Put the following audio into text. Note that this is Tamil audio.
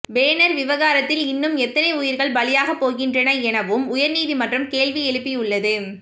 பேனர் விவகாரத்தில் இன்னும் எத்தனை உயிர்கள் பலியாகப் போகின்றன என வும் உயர்நீதிமன்றம் கேள்வி எழுப்பியுள்ளது